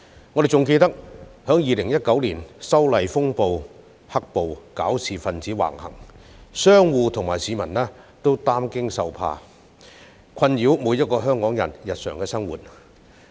我們還記得2019年修例風波引發"黑暴"，搞事分子橫行，令商戶和市民惶恐終日，他們的惡行妨礙每一個香港人的日常生活。